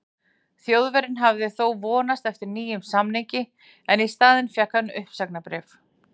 Þjóðverjinn hafði þó vonast eftir nýjum samningi en í staðinn fékk hann uppsagnarbréf.